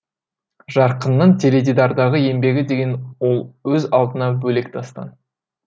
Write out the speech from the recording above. жарқынның теледидардағы еңбегі деген ол өз алдына бөлек дастан